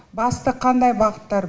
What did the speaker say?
басты қандай бағыттар